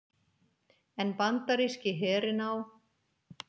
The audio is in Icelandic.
en bandaríski herinn á